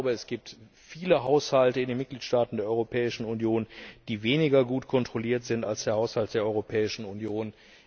Es gibt viele Haushalte in den Mitgliedstaaten der Europäischen Union, die weniger gut kontrolliert sind als der Haushalt der Europäischen Union.